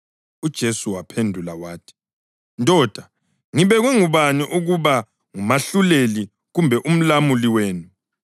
UJesu waphendula wathi, “Ndoda, ngibekwe ngubani ukuba ngumahluleli kumbe umlamuli wenu?”